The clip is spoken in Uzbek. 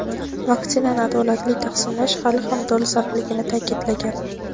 vaksinani adolatli taqsimlash hali ham dolzarbligini ta’kidlagan.